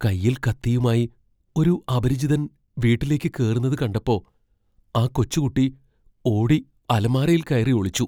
കയ്യിൽ കത്തിയുമായി ഒരു അപരിചിതൻ വീട്ടിലേക്ക് കേറുന്നത് കണ്ടപ്പോ ആ കൊച്ചുകുട്ടി ഓടി അലമാരയിൽ കയറി ഒളിച്ചു.